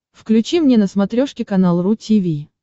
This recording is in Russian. включи мне на смотрешке канал ру ти ви